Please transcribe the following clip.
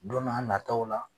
Don n'a nataw la